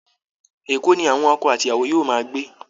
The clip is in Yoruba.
Èkó ni àwọn ọkọ àti ìyàwó yóò máa gbé